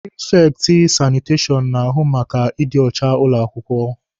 Prifekti sanitashọn na-ahụ maka ịdị ọcha ụlọ akwụkwọ.